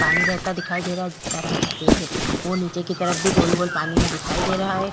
पानी बहता दिखाई दे रहा है जिसका रंग सफेद है वो नीचे की तरफ भी गोल-गोल पानी में दिखाई दे रहा है।